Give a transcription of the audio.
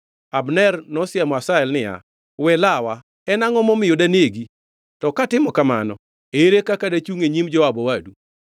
Abner nosiemo Asahel niya, “We lawa! En angʼo momiyo danegi? To katimo kamano, ere kaka dachungʼ e nyim Joab owadu?”